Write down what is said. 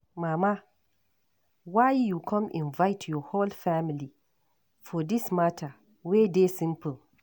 Mama why you come invite your whole family for dis matter wey dey simple.